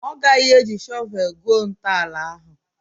Ọ gaghị eji shọvel gwuo ntọala ahụ?